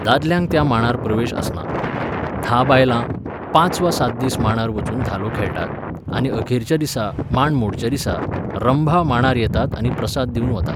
दादल्यांक त्या मांडार प्रवेश आसना. धा बायलां, पांच वा सात दीस मांडार वचून धालो खेळटात आनी अखेरच्या दिसा, मांड मोडच्या दिसा, रंभा मांडार येतात आनी प्रसाद दिवन वतात